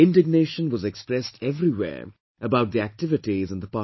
Indignation was expressed everywhere about the activities in the Parliament